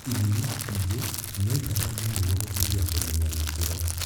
Ithimi ingĩ noitabanio nĩguo gũteithia kũmenya gĩkĩro